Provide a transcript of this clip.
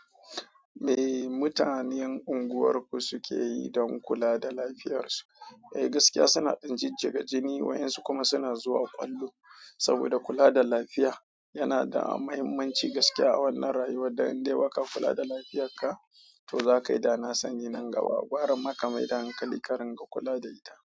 Me mutanen unguwarku suke yi don kula da lafiyarsu? Eh, gaskiya suna ɗin jijjiga jini, waɗansu kuma suna zuwa ƙwallo. Saboda kula da lafiya yana da mahimmanci gaskiya a wannan rayuwa, idan dai baka kula da lafiyarka, to za ka yi idana sani nan gaba. Gwara maka mai da hankali, karin ka kula da ita.